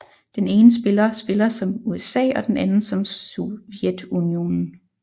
Den ene spiller spiller som USA og den anden som Sovjetunionen